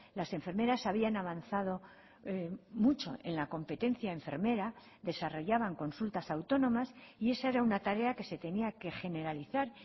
las enfermeras habían avanzado mucho en la competencia enfermera desarrollaban consultas autónomas y esa era una tarea que se tenía que generalizar